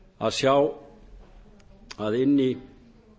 að sjá að inni